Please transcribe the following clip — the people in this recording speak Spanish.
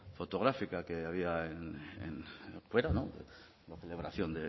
fotográfica que había fuera la celebración